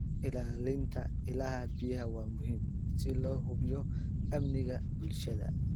Ilaalinta ilaha biyaha waa muhiim si loo hubiyo amniga bulshada.